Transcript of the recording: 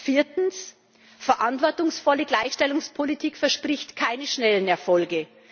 Viertens Verantwortungsvolle Gleichstellungspolitik verspricht keine schnellen Erfolge.